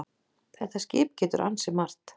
Þetta skip getur ansi margt.